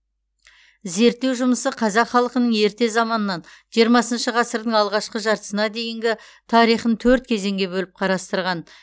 зерттеу жұмысы қазақ халқының ерте заманнан жиырмасыншы ғасырдың алғашқы жартысына дейінгі тарихын төрт кезеңге бөліп қарастырған